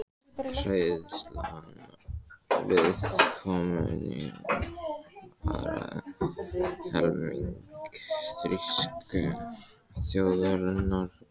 Hræðslan við kommúnismann ærði helming þýsku þjóðarinnar í fang nasismans.